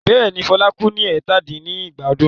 Bẹ́ẹ̀ ni, Fela kú ní ẹ̀tàdín-ní-ẹgbàá ọdún.